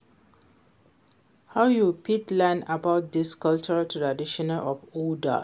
how you fit learn about di cultural traditions of odas?